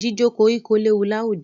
Jíjó koríko léwu láwùjọ.